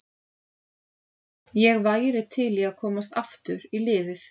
Ég væri til í að komast aftur í liðið.